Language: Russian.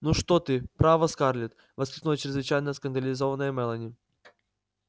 ну что ты право скарлетт воскликнула чрезвычайно скандализованная мелани